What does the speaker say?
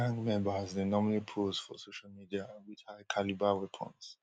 gang members dey normally pose for social media wit highcalibre weapons